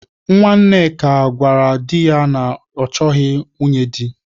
Nwanneka gwarav di ya na ya achọghị nwunye di.